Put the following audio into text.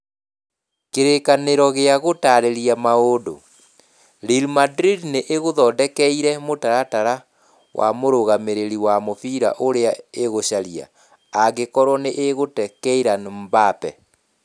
(Kĩrĩkanĩro gĩa Gũtaarĩria Maũndũ) Real Madrid nĩ ĩgũthondekeire mũtaratara wa mũrũgamĩrĩri wa mũbira ũrĩa ĩgũcaria, angĩkorwo nĩ ĩgũte Kylian Mbappe.